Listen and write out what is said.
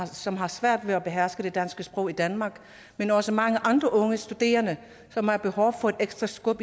som har svært ved at beherske det danske sprog i danmark men også mange andre unge studerende som har behov for et ekstra skub